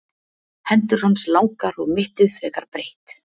Hendur hans langar og mittið frekar breitt.